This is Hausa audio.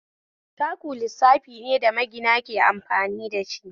Taku lissafi ne da magina ke amfani dashi